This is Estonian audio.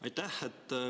Aitäh!